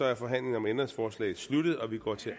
er forhandlingen om ændringsforslaget sluttet og vi går til